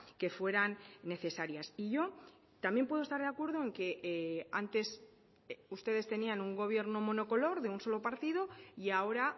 que fueran necesarias y yo también puedo estar de acuerdo en que antes ustedes tenían un gobierno monocolor de un solo partido y ahora